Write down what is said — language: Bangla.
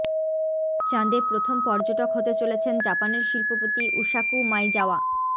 চাঁদে প্রথম পর্যটক হতে চলেছেন জাপানের শিল্পপতি উসাকু মাইজাওয়া